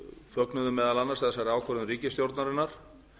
fögnuðu meðal annars þessari ákvörðun ríkisstjórnarinnar